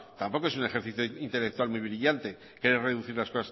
tampoco es un ejercicio intelectual muy brillante reducir las